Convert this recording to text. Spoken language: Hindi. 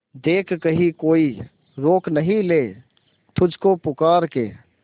देख कहीं कोई रोक नहीं ले तुझको पुकार के